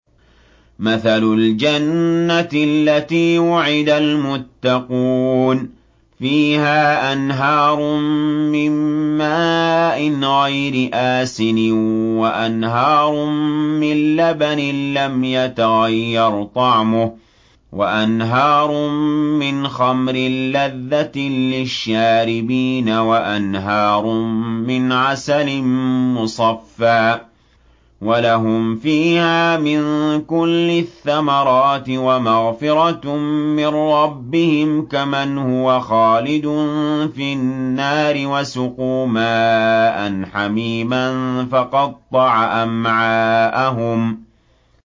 مَّثَلُ الْجَنَّةِ الَّتِي وُعِدَ الْمُتَّقُونَ ۖ فِيهَا أَنْهَارٌ مِّن مَّاءٍ غَيْرِ آسِنٍ وَأَنْهَارٌ مِّن لَّبَنٍ لَّمْ يَتَغَيَّرْ طَعْمُهُ وَأَنْهَارٌ مِّنْ خَمْرٍ لَّذَّةٍ لِّلشَّارِبِينَ وَأَنْهَارٌ مِّنْ عَسَلٍ مُّصَفًّى ۖ وَلَهُمْ فِيهَا مِن كُلِّ الثَّمَرَاتِ وَمَغْفِرَةٌ مِّن رَّبِّهِمْ ۖ كَمَنْ هُوَ خَالِدٌ فِي النَّارِ وَسُقُوا مَاءً حَمِيمًا فَقَطَّعَ أَمْعَاءَهُمْ